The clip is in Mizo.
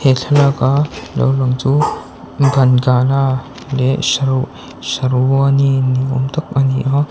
he thlalâka lo lang chu leh sherwani ni âwm tak a ni a.